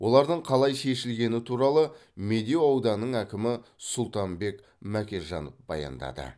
олардың қалай шешілгені туралы медеу ауданының әкімі сұлтанбек мәкежанов баяндады